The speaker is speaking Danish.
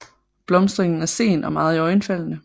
Blomstringen er sen og meget iøjnefaldende